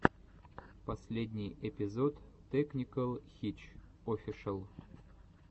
последний эпизод тэкникэл хитч офишэл